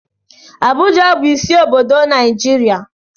Abuja bụ isi obodo Naijiria.